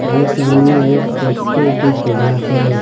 और सामने एक पोस्टर दिख रहा है।